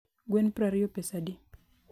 gwen prariyo pesadi